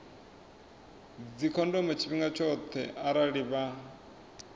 dzikhondomo tshifhinga tshoṱhe arali vha